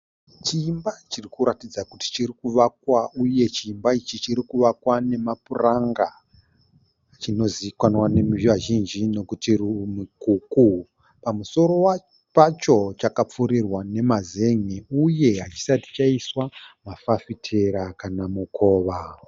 Chiimba chiri kuratidza kuti chiri kuvakwa uye chiimba ichi chiri kuvakwa nemapuranga. Chinozivakanwa neruzhinji nekuti mukuku. Pamusoro pacho chakapfurirwa nemazen'e uye hachisati chaiswa mafafitera kana mukova.